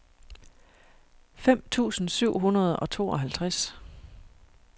fem tusind syv hundrede og tooghalvtreds